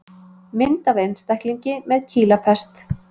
Mynd af einstaklingi með kýlapest.